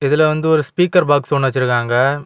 இதுல வந்து ஒரு ஸ்பீக்கர் பாக்ஸ் ஒன்னு வச்சிருக்காங்க.